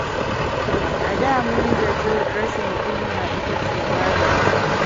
A da mun zaci rashin kunya ita ce waye wa.